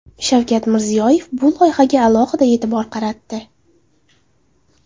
Shavkat Mirziyoyev bu loyihaga alohida e’tibor qaratdi.